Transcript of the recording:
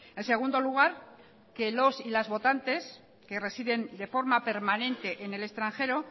en segundo lugar que los y las votantes que residen de forma permanente en el extranjero